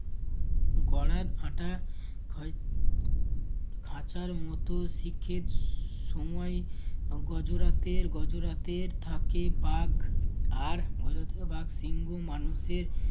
গরাদ আটা খাঁ~ খাঁচার মতো শিখের স~ সময় গজোরাতের গজোরাতের থাকে বাঘ আর গজরাতে থাকে বাঘ